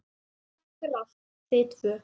Takk fyrir allt, þið tvö.